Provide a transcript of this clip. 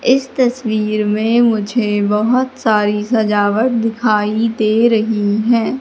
इस तस्वीर में मुझे बहुत सारी सजावट दिखाई दे रही हैं।